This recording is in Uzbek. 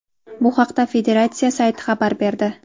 Bu haqda federatsiya sayti xabar berdi .